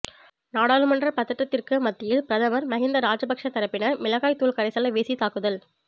நாடாளுமன்ற பதற்றத்திற்கு மத்தியில் பிரதமர் மஹிந்த ராஜபக்ச தரப்பினர் மிளகாய் தூள் கரைசலை வீசி தாக்குதல்